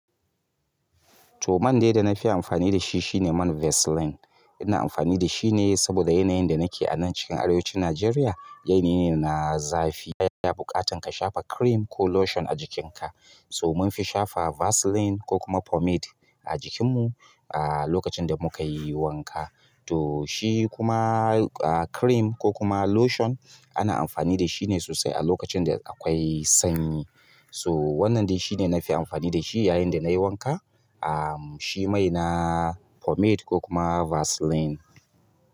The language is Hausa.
To, man dai da na fi amfani shi shine man Vaseline. Ina amfani da shi ne saboda yanayin da nake anan cikin arewacin Najeriya yanayi ne na zafi. Yana buƙatan ka shafa cream ko lotion a jikinka. So munfi shafa Vaseline, ko kuma pomade a jikinmu, a lokacin da muka yi wanka. To shi kuma a, cream ko kuma lotion ana amfani da shi ne sosai a lokacin da akwai sanyi. To wannan dai shi ne na fi amfani da shi yayin da na yi wanka. Am, shi mai na pomade ko kuma Vaseline.